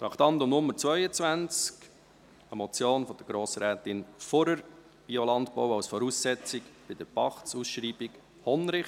Wir kommen zu Traktandum 22, einer Motion von Grossrätin Fuhrer, «Biolandbau als Voraussetzung bei der Pachtausschreibung Hondrich».